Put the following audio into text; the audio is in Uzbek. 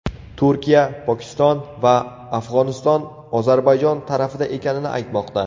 Turkiya, Pokiston va Afg‘oniston Ozarbayjon tarafida ekanini aytmoqda.